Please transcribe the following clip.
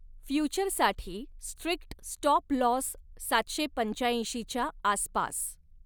फ्युचरसाठी strict stop loss सातशे पंच्यैंशी च्या आसपास.